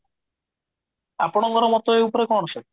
ଆପଣଙ୍କର ମତ ଏ ଉପରେ କଣ ସବୁ